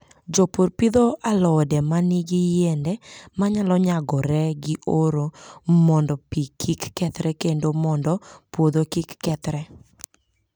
Jopur pidho alode ma nigi yiende ma nyalo nyagore gi oro mondo pi kik kethre kendo mondo puodho kik kethre.